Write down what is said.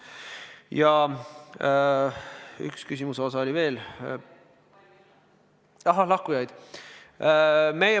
Ja üks küsimus oli veel – lahkujad.